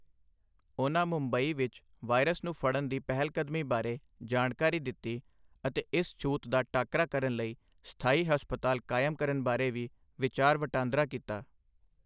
ਉਨ੍ਹਾਂ ਮੁੰਬਈ ਵਿੱਚ ਵਾਇਰਸ ਨੂੰ ਫ਼ੜਨ ਦੀ ਪਹਿਲਕਦਮੀ ਬਾਰੇ ਜਾਣਕਾਰੀ ਦਿੱਤੀ ਅਤੇ ਇਸ ਛੂਤ ਦਾ ਟਾਕਰਾ ਕਰਨ ਲਈ ਸਥਾਈ ਹਸਪਤਾਲ ਕਾਇਮ ਕਰਨ ਬਾਰੇ ਵੀ ਵਿਚਾਰ ਵਟਾਂਦਰਾ ਕੀਤਾ।